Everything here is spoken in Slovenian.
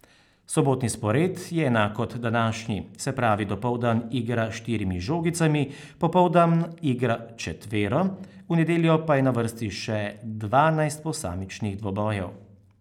Sobotni spored je enak kot današnji, se pravi dopoldan igra s štirimi žogicami, popoldan igra četvero, v nedeljo pa je na vrsti še dvanajst posamičnih dvobojev.